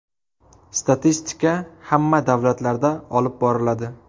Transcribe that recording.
Statistika hamma davlatlarda olib boriladi.